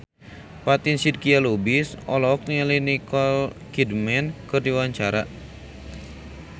Fatin Shidqia Lubis olohok ningali Nicole Kidman keur diwawancara